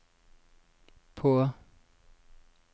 på